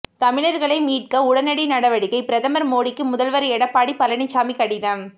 தமிழர்களை மீட்க உடனடி நடவடிக்கை பிரதமர் மோடிக்கு முதல்வர் எடப்பாடி பழனிசாமி கடிதம்